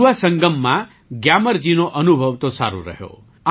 યુવા સંગમમાં ગ્યામરજીનો અનુભવ તો સારો રહ્યો